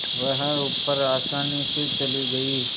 वह ऊपर आसानी से चली गई